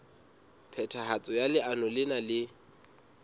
phethahatso ya leano lena e